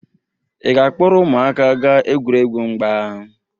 Ị ga-akpọrọ ụmụaka gaa egwuregwu mgba?